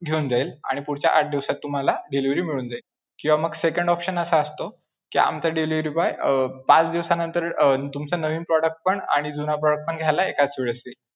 घेऊन जाईल. आणि पुढच्या आठ दिवसात तुम्हाला delivery मिळून जाईल किंवा मग second option असा असतो, कि आमचा delivery boy अं पाच दिवसानंतर अं तुमचं नवीन product पण आणि जुनं product पण घ्यायला एकाच वेळीस येईल.